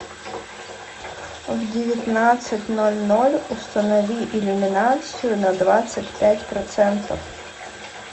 в девятнадцать ноль ноль установи иллюминацию на двадцать пять процентов